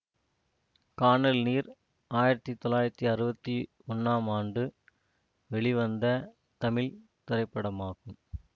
கானல் நீர் ஆயிரத்தி தொள்ளாயிரத்தி அறுவத்தி ஒன்றாம் ஆண்டு வெளிவந்த தமிழ் திரைப்படமாகும்